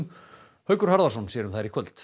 Haukur Harðarson sér um þær í kvöld